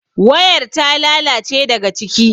wayar ta lalace daga ciki